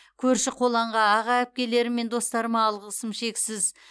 көрші қолаңға аға әпкелерім мен достарыма алғысым шексіз